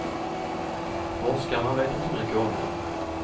Forskarna vet inte mycket om den.